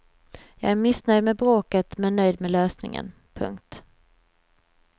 Jag är missnöjd med bråket men nöjd med lösningen. punkt